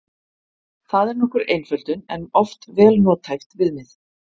Það er nokkur einföldun en oft vel nothæft viðmið.